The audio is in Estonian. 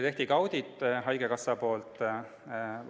Haigekassa tegi meile ka auditi.